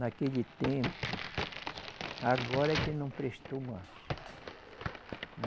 Naquele tempo, agora que não prestou mais.